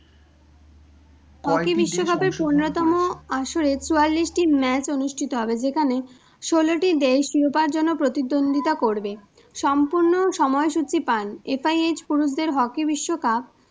আসরে চুয়াল্লিশটি match অনুষ্ঠিত হবে, যেখানে ষোলোটি দেশ শিরোপার জন্য প্রতিদ্বন্দ্বীতা করবে। সম্পূর্ণ সময়সূচী পান, FIH পুরুষদের hockey বিশ্বকাপ,